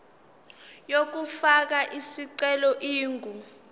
yokufaka isicelo ingu